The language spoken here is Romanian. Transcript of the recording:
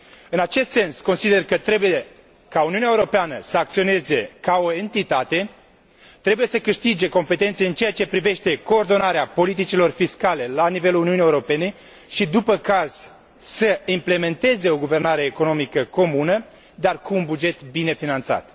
În acest sens consider că trebuie ca Uniunea Europeană să acționeze ca o entitate, trebuie să câștige competențe în ceea ce privește coordonarea politicilor fiscale la nivelul Uniunii Europene și, după caz, să implementeze o guvernare economică comună, dar cu un buget bine finanțat.